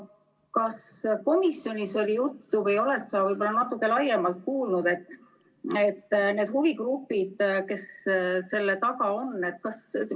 Kas komisjonis oli juttu või oled sa natuke rohkem kuulnud nendest huvigruppidest, kes selle taga on?